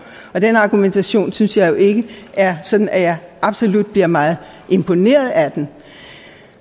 og den argumentation synes jeg jo ikke er sådan at jeg absolut bliver meget imponeret af den